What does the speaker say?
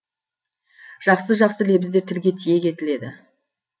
жақсы жақсы лебіздер тілге тиек етіледі